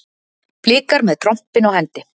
Blikar með trompin á hendi